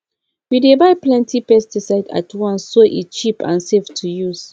we dey buy plenty pesticide at once so e cheap and safe to use